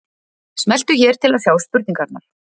Smelltu hér til að sjá spurningarnar